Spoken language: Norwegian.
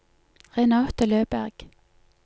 Renate Løberg